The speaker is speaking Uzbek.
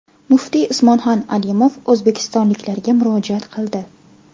Muftiy Usmonxon Alimov o‘zbekistonliklarga murojaat qildi.